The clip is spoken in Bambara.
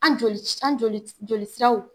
Ali joli joli joli siraw.